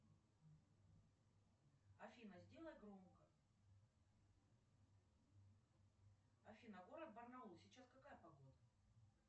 афина сделай громко афина город барнаул сейчас какая погода